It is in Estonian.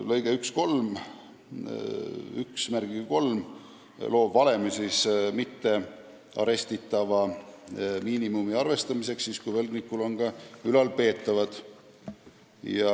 Lõige 13 annab valemi mittearestitava miinimumi arvestamiseks siis, kui võlgnikul on ka ülalpeetavad.